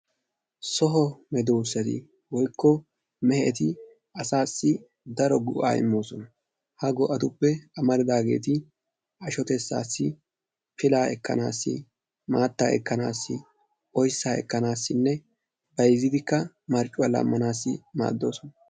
So medoossati woykko meheti asaassi daro go"aa immoosona. Ha go"atuppe amaridaageeti ashotettaassi, pilaa ekkanaassi, maattaa ekkanaassi, oyssaa ekkanaassinne bayzzidikka marccuwa laammanaassi maaddoosona.